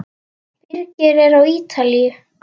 Birgir er á Ítalíu.